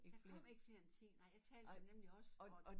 Der kom ik flere end 10 nej jeg talte dem nemlig også og